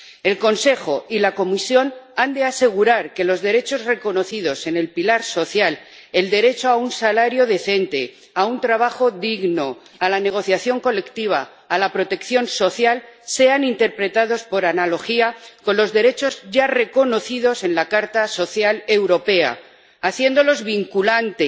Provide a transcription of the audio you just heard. El Consejo y la Comisión han de asegurar que los derechos reconocidos en el pilar social, el derecho a un salario decente, a un trabajo digno, a la negociación colectiva, a la protección social, sean interpretados por analogía con los derechos ya reconocidos en la Carta Social Europea, haciéndolos vinculantes